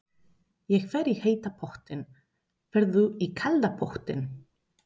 Ég fer í heita pottinn. Ferð þú í kalda pottinn?